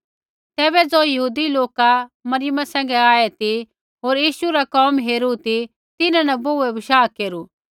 तैबै ज़ो यहूदी लोका मरियम सैंघै आऐ ती होर यीशु रा कोम हेरू ती तिन्हां न बोहूऐ बशाह केरू